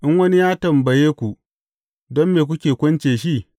In wani ya tambaye ku, Don me kuke kunce shi?’